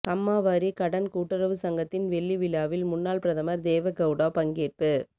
கம்மாவாரி கடன் கூட்டுறவு சங்கத்தின் வெள்ளி விழாவில் முன்னாள் பிரதமர் தேவெ கெளடா பங்கேற்பு